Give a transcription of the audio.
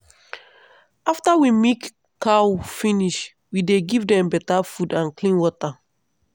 after we milk cow finish we dey give dem better food and clean water.